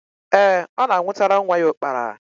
Ee, ọ na-anwụtara nwa ya ụkpara.